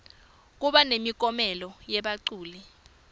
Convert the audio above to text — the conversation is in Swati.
kuba nemiklomelo yebaculi